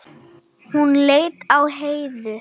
Hún leit á Heiðu.